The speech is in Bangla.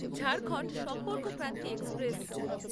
ঝাড়খন্ড সম্পর্কক্রান্তি এক্সপ্রেস